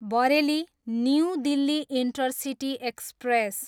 Bareilly, new Delhi intercity express